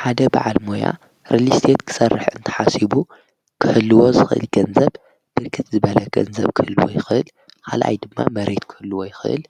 ሓደ በዓል ሞያ ርሊስትት ክሠርሕ እንተሓሲቡ ክህልዎ ዝኽኢል ገንዘብ ድርክት ዝበለ ገንዘብ ክህልዎ ይኽል ሓልኣይ ድማ መሬት ክህልዎ ይኽል